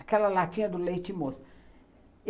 Aquela latinha do leite moça.